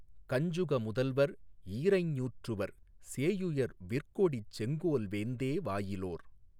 கஞ்சுக முதல்வர் ஈரைஞ் ஞூற்றுவர் சேயுயர் விற்கொடிச் செங்கோல் வேந்தே வாயிலோர்